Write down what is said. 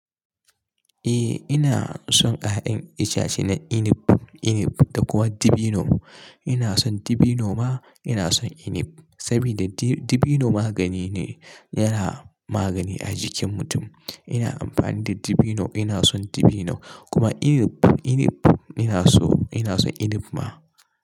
Eh ina son ƴaƴan itace na inib, inib da kuma dibino. Ina son dibino ma ina son inib. Saboda di-dibino magani ne, yana magani a jikin mutum. Ina amfani da dibino, ina son dibino. Kuma inib, inib ina so ina son inib ma.